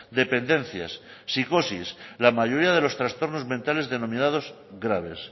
dependencias psicosis la mayoría de los trastornos mentales denominados graves